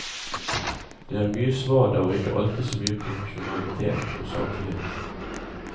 Det er mye svada og ikke alltid så mye profesjonalitet og saklighet.